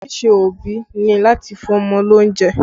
Ojúṣe òbí ni láti fún ọmọ ní oúnjẹ